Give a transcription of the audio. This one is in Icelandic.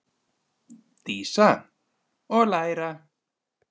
Dísa: Og læra.